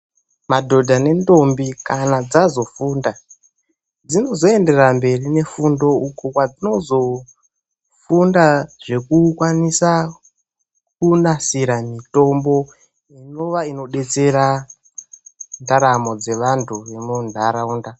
Madhodha nendombi kana dzazofunda dzinozoenderera mberi nefundo uko kwadzinozofunda zvekukwanisa kunasira mitombo inova inodetsera ndaramo dzevandu vemundaraunda.